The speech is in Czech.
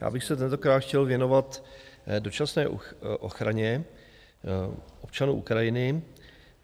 Já bych se tentokrát chtěl věnovat dočasné ochraně občanů Ukrajiny.